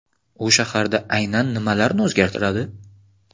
U shaharda aynan nimalarni o‘zgartiradi?